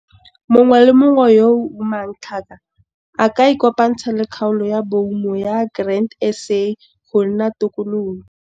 Mongwe le mongwe yo o umang tlhaka a ka ikopantsha le kgaolo ya boumo ya Grain SA go nna tokololo.